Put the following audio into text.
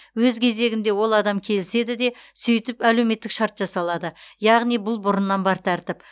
өз кезегінде ол адам келіседі де сөйтіп әлеуметтік шарт жасалады яғни бұл бұрыннан бар тәртіп